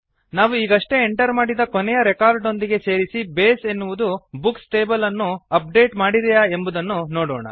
ನಾವು ಈಗಷ್ಟೇ ಎಂಟರ್ ಮಾಡಿದ ಕೊನೆಯ ರೆಕಾರ್ಡ್ ನೊಂದಿಗೆ ಸೇರಿಸಿ Baseಎನ್ನುವುದು ಬುಕ್ಸ್ ಟೇಬಲ್ ಅನ್ನು ಅಪ್ ಡೇಟ್ ಮಾಡಿದೆಯಾ ಎಂಬುದನ್ನು ನೋಡೋಣ